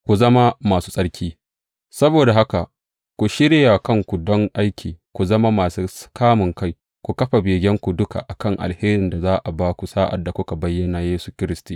Ku zama masu tsarki Saboda haka, ku shirya kanku don aiki; ku zama masu kamunkai; ku kafa begenku duka a kan alherin da za a ba ku sa’ad da aka bayyana Yesu Kiristi.